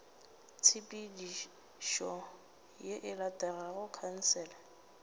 tshepedišo ye e latelago khansele